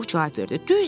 Pux cavab verdi.